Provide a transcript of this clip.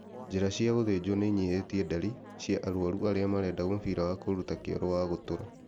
Njĩra cia gũthinjwo nĩ inyihĩtie ndari cia arwaru arĩa marenda mũbira wa kũruta kioro wa gũtũra